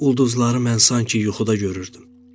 Ulduzları mən sanki yuxuda görürdüm.